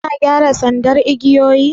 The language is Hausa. Suna gyara sandar igiyoyin ne?